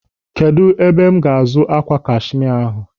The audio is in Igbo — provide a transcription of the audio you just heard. Kedụ ebe ga-azụ ákwà kashimia ahụ?